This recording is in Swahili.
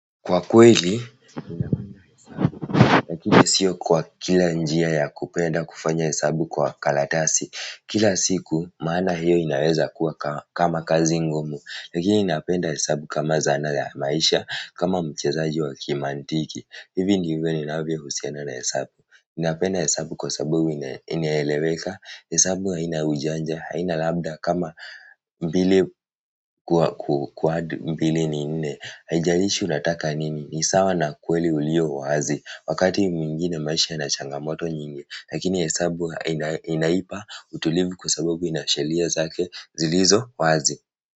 Kwa kweli, lakini sio kwa kila njia ya kupenda kufanya hesabu kwa kalatasi kila siku, maana hiyo inaweza kuwa kama kazi ngumu lakini napenda hesabu kama zana za maisha, kama mchezaji wa kimantiki hivi ndivyo ninavyohusiana na hesabu napenda hesabu kwa sababu inaeleweka hesabu haina ujanja, haina labda kama mbili kuadd mbili ni nne. Haijalishi unataka nini? Ni sawa na kweli ulio wazi wakati mwingine maisha yana changamoto nyingi lakini hesabu inaipa utulivu kwa sababu ina sheria zake zilizo wazi.